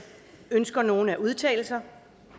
ønsker nogen at udtale sig